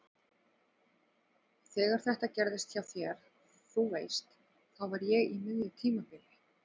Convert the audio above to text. Þegar þetta gerðist hjá þér. þú veist. þá var ég á miðju tímabili.